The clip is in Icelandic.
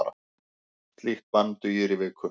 Slíkt bann dugir í viku.